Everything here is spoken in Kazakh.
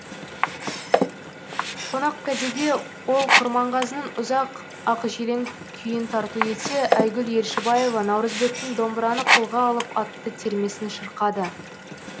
қонақкәдеге ол құрманғазының ұзақ ақжелең күйін тарту етсе айгүл елшібаева наурызбектің домбыраны қолға алып атты термесін шырқады